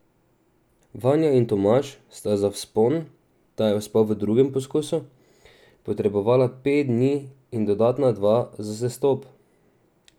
Vanja in Tomaž sta za vzpon, ta je uspel v drugem poskusu, potrebovala pet dni in dodatna dva za sestop.